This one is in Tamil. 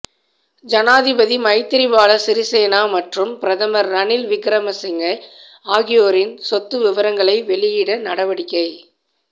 ஜனாதிபதி மைத்திரிபால சிறிசேன மற்றும் பிரதமர் ரணில் விக்ரமசிங்க ஆகியோரின் சொத்து விவரங்களை வெளியிட நடவடிக்கை